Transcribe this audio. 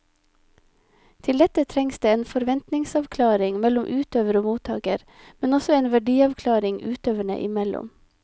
Til dette trengs det en forventningsavklaring mellom utøver og mottaker, men også en verdiavklaring utøverne imellom.